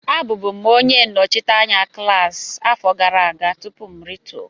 Abụbu m onye nnọchi anya klaasị afọ gara aga tupu m rituo